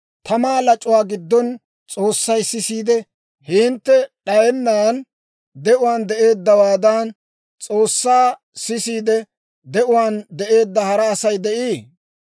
Tamaa lac'uwaa giddona S'oossay sisiide, hintte d'ayennan de'uwaan de'eeddawaadan, S'oossay sisiide, de'uwaan de'eedda hara Asay de'ii?